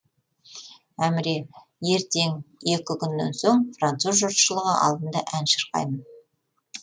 әміре ертең екі күннен соң француз жұртшылығы алдында ән шырқаймын